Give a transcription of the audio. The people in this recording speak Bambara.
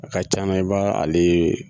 A ka c'a la i b'a ale